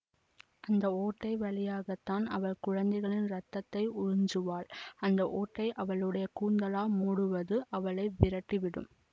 அந்த ஓட்டை வழியாகத்தான் அவள் குழந்தைளின் ரத்தத்தை உறிஞ்சுவாள் அந்த ஒட்டையை அவளுடைய கூந்தலால் மூடுவது அவளை விரட்டி விடும்